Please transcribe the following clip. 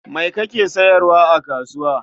Me kake sayarwa a kasuwa?